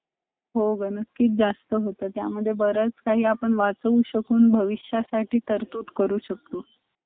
त ते छान वाटलं धीरे धीरे adjust झालो एक महिन्यामध्ये पंधरा दिवसामधे आम्हाला कळायला लागला independently फिरायला लागलो shanghai मधे अं shanghai चा एक म्हणजे त्यांचा हे दोन system मला खूप आवडलय एक म्हणजे